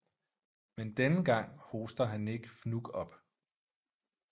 Men denne gang hoster han ikke fnug op